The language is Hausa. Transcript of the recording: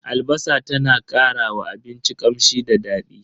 Albasa ta na karawa abinci kamshi da dadi.